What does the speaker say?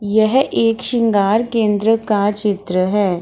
यह एक शृंगार केंद्र का चित्र है।